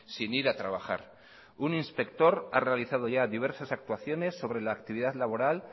sin ir a trabajar un inspector ha realizado ya diversas actuaciones sobre la actividad laboral